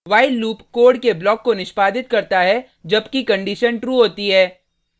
while loop code के block को निष्पादित करता है जबकि कंडिशन true होती है